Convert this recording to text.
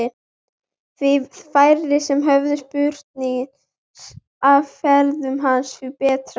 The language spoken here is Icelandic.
Því færri sem höfðu spurnir af ferðum hans því betra.